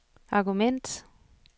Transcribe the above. argument